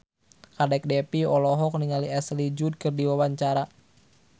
Kadek Devi olohok ningali Ashley Judd keur diwawancara